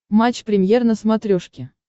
матч премьер на смотрешке